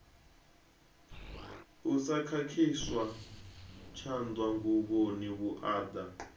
u sa khakhiswa tshanḓanguvhoni vhuaḓa